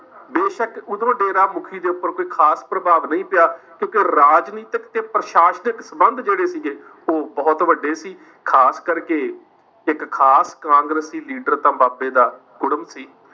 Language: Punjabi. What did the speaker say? ਬੇਸ਼ੱਕ ਓਦੋਂ ਡੇਰਾਮੁਖੀ ਦੇ ਉੱਪਰ ਕੋਈ ਖਾਸ ਪ੍ਰਭਾਵ ਨਹੀਂ ਪਿਆ ਕਿਉਂਕਿ ਰਾਜਨੀਤਿਕ ਤੇ ਪ੍ਰਸ਼ਾਸਨਿਕ ਸੰਬੰਧ ਜਿਹੜੇ ਸੀ ਗੇ ਉਹ ਬਹੁਤ ਵੱਡੇ ਸੀ ਖਾਸ ਕਰਕੇ ਇੱਕ ਖਾਸ ਕਾਂਗਰਸੀ ਲੀਡਰ ਤਾਂ ਬਾਬੇ ਦਾ ਕੁੜਮ ਸੀ।